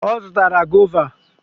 Ọ zụtaara goova.